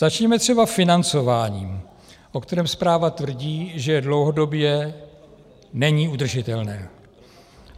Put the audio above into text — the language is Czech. Začněme třeba financováním, o kterém zpráva tvrdí, že dlouhodobě není udržitelné.